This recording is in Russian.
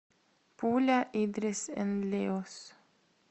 пуля идрис энд леос